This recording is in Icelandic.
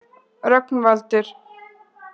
Rögnvaldur